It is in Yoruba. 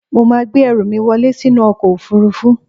Mo máa gbé ẹrù mí wọlẹ́ sínú ọkọ̀ òfurufú.